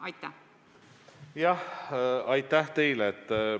Aitäh teile!